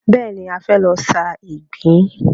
Bẹ́ẹ̀ni, a fẹ́ lọ sa ìgbín.